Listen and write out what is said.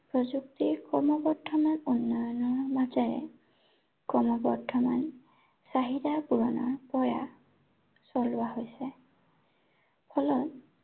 প্ৰযুক্তি ক্ৰমবৰ্ধমান উন্নয়নৰ মাজেৰে, ক্ৰমবৰ্ধমান, চাহিদা পূৰণৰ প্ৰয়াস চলোৱা হৈছে। ফলত